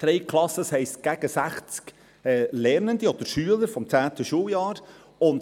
Drei Klassen, das heisst, gegen sechzig Lernende oder Schüler des 10. Schuljahres.